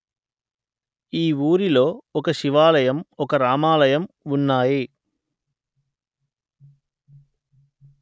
ఈ ఊరిలో ఒక శివాలయం ఒక రామాలయం ఉన్నాయి